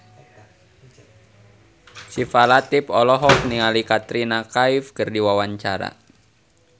Syifa Latief olohok ningali Katrina Kaif keur diwawancara